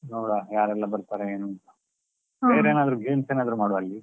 ನೋಡ್ವಾ, ಯಾರೆಲ್ಲಾ ಬರ್ತಾರೆ ಏನು ಅಂತಾ ಏನಾದ್ರೂ games ಎಲ್ಲಾ ಏನಾದ್ರು ಮಾಡ್ವಾ ಅಲ್ಲಿ?